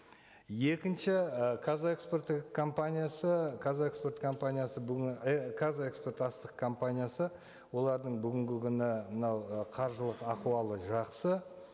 екінші і қазэкспорт компаниясы қазэкспорт компаниясы бүгін қазэкспортастық компаниясы олардың бүгінгі күні мынау ы қаржылық ахуалы жақсы